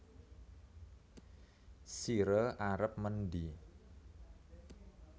Sire arep mendhi